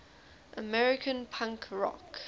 american punk rock